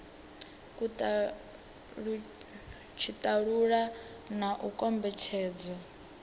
kha tshitalula na u kombetshedzwa